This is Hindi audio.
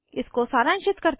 इसको सारांशित करते हैं